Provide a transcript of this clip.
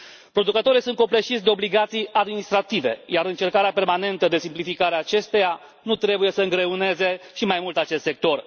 Producătorii sunt copleșiți de obligații administrative iar încercarea permanentă de simplificare a acestora nu trebuie să îngreuneze și mai mult acest sector.